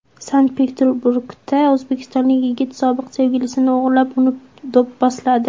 Sankt-Peterburgda o‘zbekistonlik yigit sobiq sevgilisini o‘g‘irlab, uni do‘pposladi.